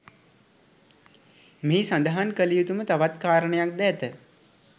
මෙහි සදහන් කලයුතුම තවත් කාරණයක් ද ඇත